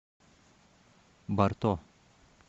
барто